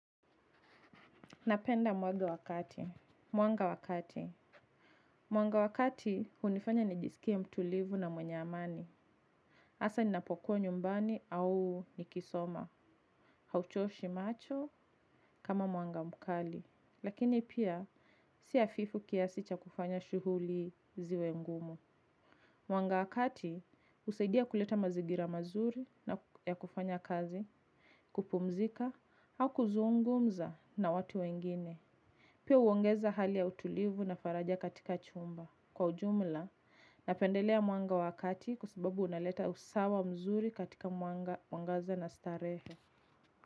Napenda mwanga wakati. Mwanga wakati hunifanya nijisikia mtulivu na mwenye amani. Hasa ninapokuwa nyumbani au nikisoma. Hauchoshi macho kama mwanga mkali. Lakini pia si hafifu kiasi cha kufanya shughuli ziwe ngumu. Mwanga wakati husaidia kuleta mazingira mazuri na ya kufanya kazi. Kupumzika au kuzungumza na watu wengine. Pia huongeza hali ya utulivu na faraja katika chumba. Kwa ujumla, napendelea mwanga wakati kwa sababu unaleta usawa mzuri katika mwangaza na starehe.